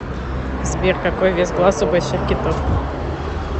сбер какой вес глаз у больших китов